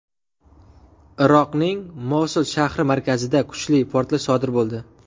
Iroqning Mosul shahri markazida kuchli portlash sodir bo‘ldi.